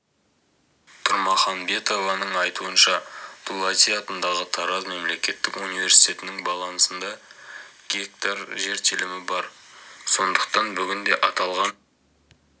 тұрмаханбетованың айтуынша дулати атындағы тараз мемлекеттік университетінің балансында гектар жер телімі бар сондықтан бүгінде аталған